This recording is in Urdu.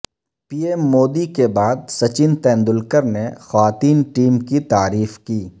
پی ایم مودی کے بعد سچن تندولکر نے خواتین ٹیم کی تعریف کی